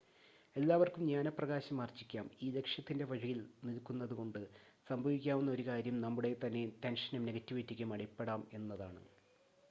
എല്ലാവർക്കും ജ്ഞാനപ്രകാശം ആർജ്ജിക്കാം ഈ ലക്ഷ്യത്തിൻ്റെ വഴിയിൽ നിൽക്കുന്നതുകൊണ്ട് സംഭവിക്കാവുന്ന ഒരു കാര്യം നമ്മുടെതന്നെ ടെൻഷനും നെഗറ്റിവിറ്റിയ്ക്കും അടിപ്പെടാം എന്നതാണ്